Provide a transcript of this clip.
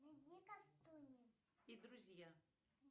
и друзья